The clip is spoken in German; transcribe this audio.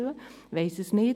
ich weiss es nicht.